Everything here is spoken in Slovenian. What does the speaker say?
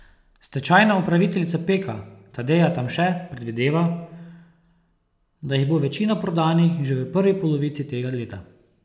Stečajna upraviteljica Peka Tadeja Tamše predvideva, da jih bo večina prodanih že v prvi polovici tega leta.